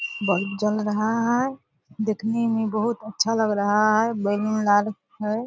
Bulb जल रहा है देखने में बहुत अच्छा लग रहा है बैलून लाल है।